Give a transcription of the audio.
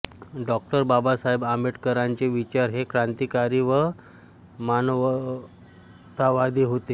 डॉ बाबासाहेब आंबेडकरांचे विचार हे क्रांतिकारी व मानवतावादी होते